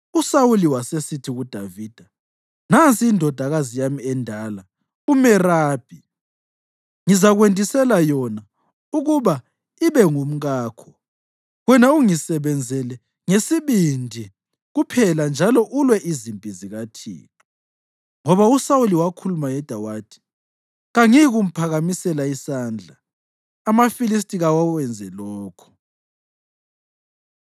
USawuli wasesithi kuDavida, “Nansi indodakazi yami endala uMerabi; ngizakwendisela yona ukuba ibe ngumkakho; wena ungisebenzele ngesibindi kuphela njalo ulwe izimpi zikaThixo.” Ngoba uSawuli wakhuluma yedwa wathi, “Kangiyikumphakamisela isandla. AmaFilistiya kawenze lokho!”